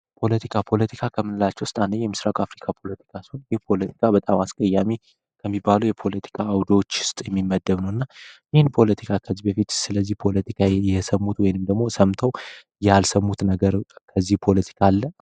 ፖለቲካ ከምንላቸው ውስጥ አንዱ የምስራቅ አፍሪካ ፖለቲካ ሲሆን ይህ ፖለቲካ በጣም አስቀያሚ ከሚባሉ የፖለቲካ አውዶዎች ውስጥ የሚመደብ እና ይህን ፖለቲካ ከዚህ በፊት ስለዚህ ፖለቲካ የሰሙት ወይንም ደግሞ ሰምተው ያልሰሙት ነገር ከዚህ ፖለቲካ አለ።